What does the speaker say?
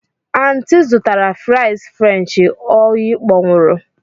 Aunty zụtara fries french oyi kpọnwụrụ.